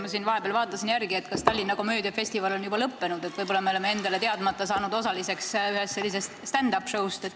Ma siin vahepeal vaatasin, kas Tallinna komöödiafestival on ikka lõppenud või me oleme ise seda teadmata saanud ühe stand-up show osaliseks.